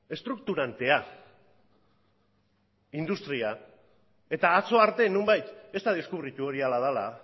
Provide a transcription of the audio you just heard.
eta atzo arte nonbait ez da deskubritu hori horrela dela